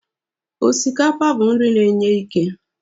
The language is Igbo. Osikapa bụ nri na e nye ike